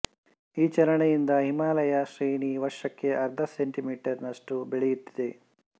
ಈ ಚಲನೆಯಿಂದ ಹಿಮಾಲಯ ಶ್ರೇಣಿ ವರ್ಷಕ್ಕೆ ಅರ್ಧ ಸೆಮೀ ನಷ್ಟು ಬೆಳೆಯುತ್ತಿದೆ